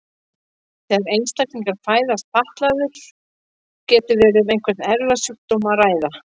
Þegar einstaklingur fæðist fatlaður getur verið um einhvern erfðasjúkdóm að ræða.